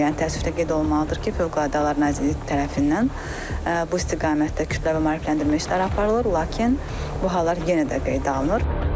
Yəni təəssüflə qeyd olunmalıdır ki, Fövqəladə Hallar Nazirliyi tərəfindən bu istiqamətdə kütləvi maarifləndirmə işləri aparılır, lakin bu hallar yenə də qeydə alınır.